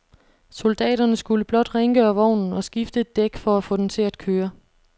Soldaterne skulle blot rengøre vognen og skifte et dæk for at få den til at køre.